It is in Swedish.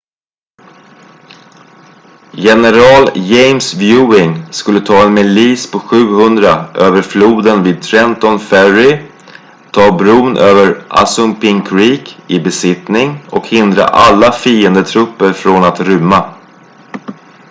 general james ewing skulle ta en milis på 700 över floden vid trenton ferry ta bron över assunpink creek i besittning och hindra alla fiendetrupper från att rymma